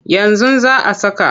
Yanzu za a saka.